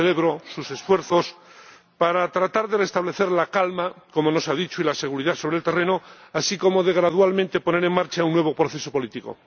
Yo celebro sus esfuerzos para tratar de restablecer la calma, como nos ha dicho, y la seguridad sobre el terreno, así como de gradualmente poner en marcha un nuevo proceso político.